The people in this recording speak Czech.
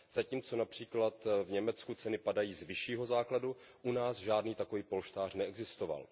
Zatímco například v Německu ceny padají z vyššího základu, u nás žádný takový polštář neexistoval.